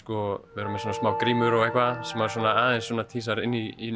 vera með smá grímur og eitthvað sem aðeins tísar inn í